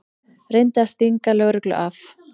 Reyndi að stinga lögreglu af